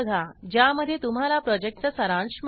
ज्यामध्ये तुम्हाला प्रॉजेक्टचा सारांश मिळेल